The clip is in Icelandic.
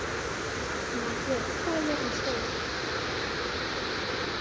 Margrjet, hvað er jörðin stór?